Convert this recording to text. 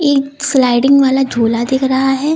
एक स्लाइडिंग वाला झूला दिख रहा है।